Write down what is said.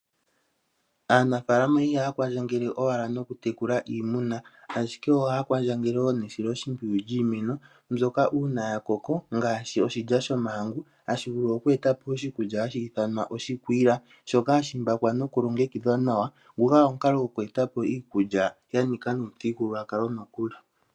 Aanafalama ihaya kwandjagele owala nokutekula iimuna, ashike ohaya kwandjagele woo nesilo shimpyiyu lyiimweno mbyoka uuna yakoko ngashi oshilya shomahangu hashivulu oku etapo oshikulya hashi ithanwa oshikwila, shoka hashimbakwa nokulogekidhwa nawa, guga omukalo goku etapo iikulya yanika nuuthigululwaka nokuli.